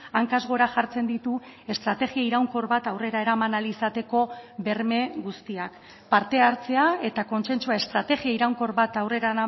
hankaz gora jartzen ditu estrategia iraunkor bat aurrera eraman ahal izateko berme guztiak parte hartzea eta kontsentsua estrategia iraunkor bat aurrera